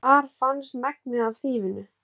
Þar fannst megnið af þýfinu